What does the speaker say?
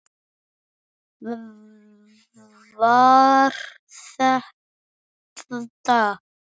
Var þetta.